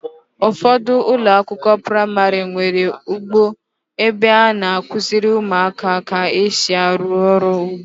Ụfọdụ ụlọakwụkwọ praịmarị nwere ugbo ebe a na-akụziri ụmụaka ka esi arụ ọrụ ugbo.